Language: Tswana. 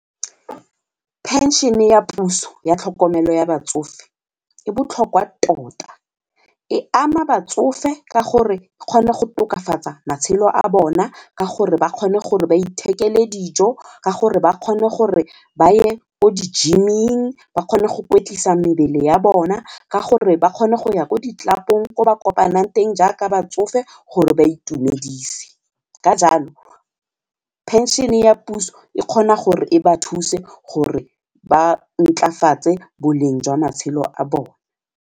Pension-e ya puso ya tlhokomelo ya batsofe e botlhokwa tota e ama batsofe ka gore e kgone go tokafatsa matshelo a bona ka gore ba kgone gore ba ithekele dijo ka gore ba kgone gore ba ye o di-gym-ing ba kgone go kwetlisa mebele ya bona ka gore ba kgone go ya ko di-club-ong ko ba kopanang teng jaaka batsofe gore ba itumedise. Ka jalo pension ya puso e kgona gore e ba thuse gore ba ntlafatse boleng jwa matshelo a bone.